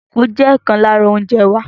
Kókò jẹ ọkan lára oúnjẹ wa.